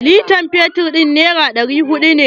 Litan fetur nera ɗari huɗu.